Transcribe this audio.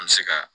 An bɛ se ka